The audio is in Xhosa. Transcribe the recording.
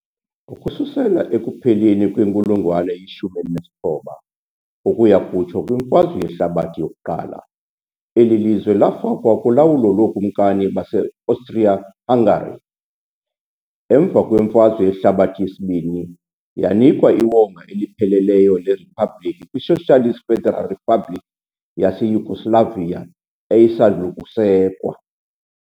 Ukususela ekupheleni kwenkulungwane ye-19 ukuya kutsho kwiMfazwe Yehlabathi I, eli lizwe lafakwa kulawulo lookumkani baseAustria-Hungary. Emva kweMfazwe Yehlabathi II, yanikwa iwonga elipheleleyo leriphabliki kwiSocialist Federal Republic yaseYugoslavia eyayisandul' ukusekwa.